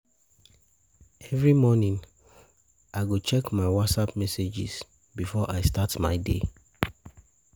Every morning, I go check my WhatsApp messages before I start my day.